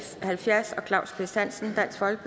halvfjerds af claus kvist hansen